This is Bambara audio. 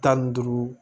Tan ni duuru